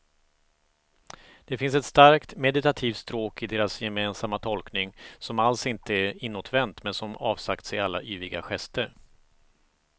Det finns ett starkt meditativt stråk i deras gemensamma tolkning som alls inte är inåtvänt men som avsagt sig alla yviga gester.